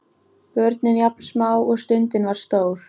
Börnin jafn smá og stundin var stór.